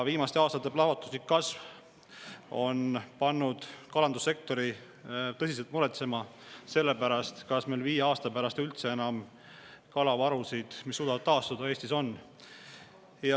Viimaste aastate plahvatuslik kasv on pannud kalandussektori tõsiselt muretsema selle pärast, kas meil viie aasta pärast Eestis üldse enam on kalavarusid, mis suudavad taastuda.